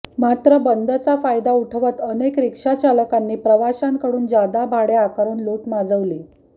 मात्र बंदचा फायदा उठवत अनेक रिक्षाचालकांनी प्रवाशांकडून जादा भाडे आकारून लूट माजवली